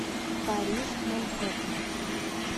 париж манхэттен